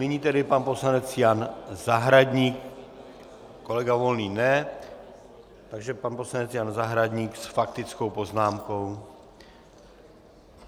Nyní tedy pan poslanec Jan Zahradník, kolega Volný ne, takže pan poslanec Jan Zahradník s faktickou poznámkou.